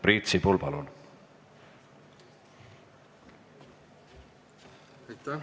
Priit Sibul, palun!